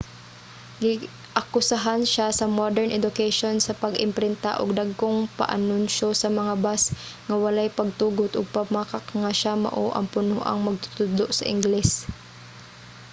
giakusahan siya sa modern education sa pag-imprinta og dagkong paanunsiyo sa mga bus nga walay pagtugot ug pagpamakak nga siya mao ang punoang magtutudlo sa ingles